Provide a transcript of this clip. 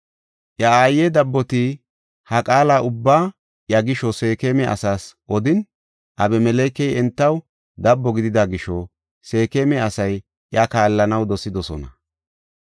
Iya aaye dabboti ha qaala ubbaa iya gisho Seekema asaas odin, Abimelekey entaw dabbo gidida gisho Seekema asay iya kaallanaw dosidosona.